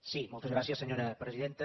sí moltes gràcies senyora presidenta